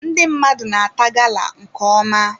Ndị mmadụ na-ata gala nke ọma.